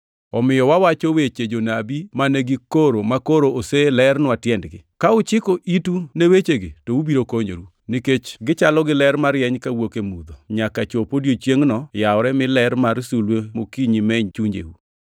Omiyo wawacho weche jonabi mane gikoro makoro oselernwa tiendgi. Ka uchiko itu ne wechegi to ubiro konyoru, nikech gichalo gi ler marieny kawuok e mudho, nyaka chop odiechiengʼno yawre mi ler mar sulwe mokinyi meny chunjeu.